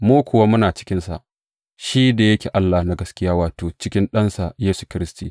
Mu kuwa muna cikinsa, shi da yake Allah na gaskiya wato, cikin Ɗansa Yesu Kiristi.